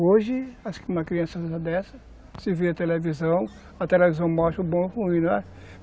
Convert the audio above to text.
Hoje, uma criança dessa, se vê na televisão, a televisão mostra o bom e o ruim, não é?